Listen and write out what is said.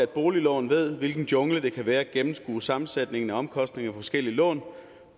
boliglån ved hvilken jungle det kan være at gennemskue sammensætningen af omkostninger på forskellige lån